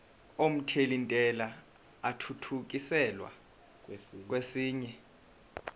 omthelintela athuthukiselwa kwesinye